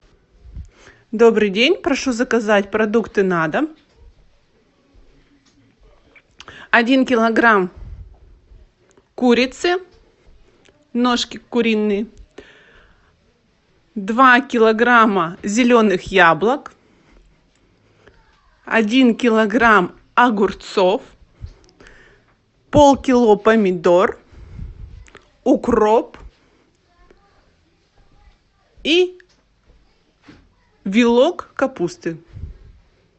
добрый день прошу заказать продукты на дом один килограмм курицы ножки куриные два килограмма зеленых яблок один килограмм огурцов полкило помидор укроп и вилок капусты